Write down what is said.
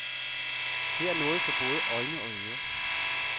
Her er noget for både øjne og ører.